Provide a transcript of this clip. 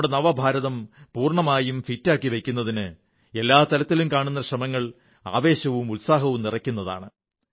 നമ്മുടെ നവഭാരതം പൂർണ്ണമായും ഫിറ്റാക്കി വയ്ക്കുന്നതിന് എല്ലാ തലത്തിലും കാണുന്ന ശ്രമങ്ങൾ ആവേശവും ഉത്സാഹവും നിറയ്ക്കുന്നതാണ്